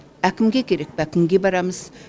әкімге керек пе әкімге барамыз